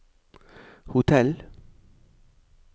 hotell